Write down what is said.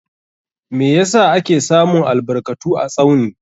Meh yasa ake samun albarkatu a Tsauni?